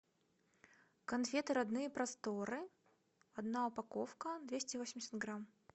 конфеты родные просторы одна упаковка двести восемьдесят грамм